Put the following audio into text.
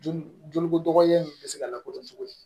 Joli joli kodɔgɔlen in bɛ se ka lakodɔn cogo di